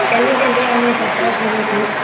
ଚାଲି ଚାଲି ଆମେ ଯାତ୍ରା କରୁଛୁ